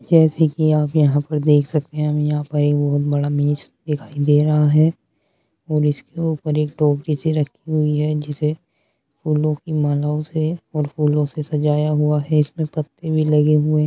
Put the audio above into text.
जैसे की आप यहाँ पर देख सकते हैं हमें यहाँ पर एक बहुत बड़ा मेज दिखाई दे रहा है और इसके ऊपर एक टोपी सी रखी है जिसे फूलों की मालाओं से और फूलों से सजाया हुआ है इसमें पत्ते भी लगे हुए --